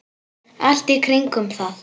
Allt í kringum það.